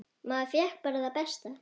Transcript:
Maður fékk bara það besta.